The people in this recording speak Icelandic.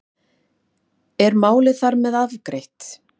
Er málið þar með afgreitt?